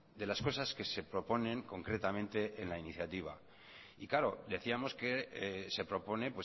de las cosas que se proponen concretamente en la iniciativa y claro decíamos que se propone